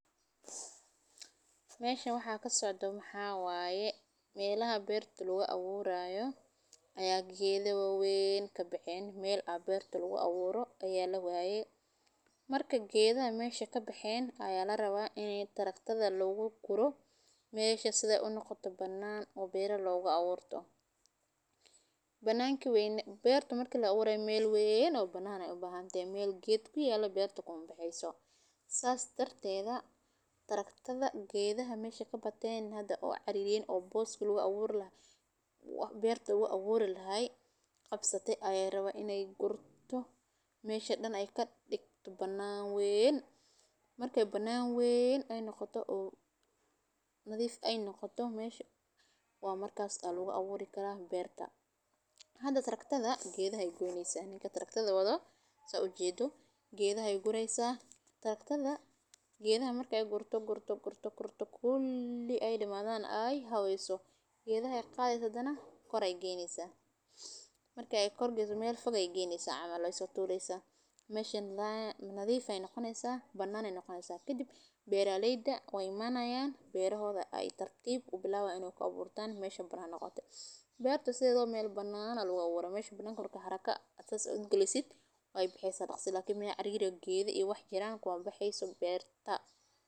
Meesha waxaa ka socdo Maxaawaye meelaha beer tul wa awuuraayo. Ayaa geedowawen ka baxeen meel a beer tul wa awuuro ayaa la waayey. Marka geedaa meesha ka baxeen ayaa la rabaa inay taragtada looga gurto. Meesha sida ay u noqoto banana oo beeraha looga awoorto banaan ki wayn. Beerta marka la waray meel weyn oo banaan ay u baahan tae meel gaadiidka iyo alo beerta kuna baxeeysaa saas darteeda. Taragtada geedaha meesha ka bateen hadda cariin oo boostul wa awuur la waa beerta wa awuuri lahay qabsatay ayaa rabay inay gurto meesha dhan ay ka dhigto banaan weyn markay banaan weyn ay noqoto uu nadiif ay noqoto meesha. Waa markaas taal looga awoorri karaa beerta. Hadda taragtada geedahay go'yneysa ninka taragtada wado sa u jeedo geedahay guraysa taragtada. Geedaha markay gurto gurto gurto gurto kulii ay dhimaa da'an ay haweeyso. Geedahay qaaday saddan kor ay geeyneysa markii ay korgiso meel fog ay geysaa ama loo soo saaraysa meesheen la nadiif ay noqonaysa banaan ay noqonaysa. Kadib beerareydda way manaayaan beerahooda ay tartiib u bilowday inuu ka buurtaan meesha banaan noqoto. Beerta sidoo meel banaana lagu awooro meesha badankorka haraka. Aad u gulisid ay bixisa naqsi laakiin meya cariira geeda i wax jira kuwa baxeesu beerta.